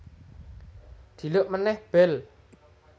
Dhiluk meneh bel